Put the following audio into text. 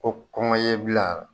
O kɔngɔ ye i bil'a la.